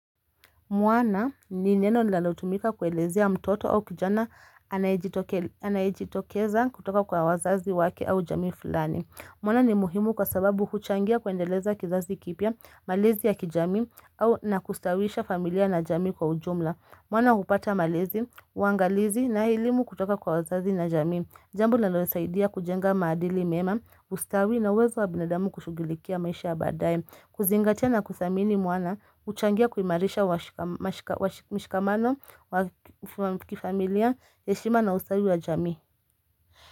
Mwana ni neno linalotumika kueleziea mtoto au kijana anayejitokeza kutoka kwa wazazi wake au jamii fulani. Mwana ni muhimu kwa sababu huchangia kuendeleza kizazi kipya, malezi ya kijamii au na kustawisha familia na jamii kwa ujumla. Mwana hupata malezi, uangalizi na elimu kutoka kwa wazazi na jamii. Jambo linalosaidia kujenga maadili mema, ustawi na uwezo wa binadamu kushugulikia maisha ya baadaye. Kuzingatia na kuthamini mwana, huchangia kuimarisha mshikamano, wa kifamilia, heshima na ustawi wa jami.